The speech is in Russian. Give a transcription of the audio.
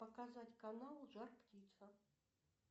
показать канал жар птица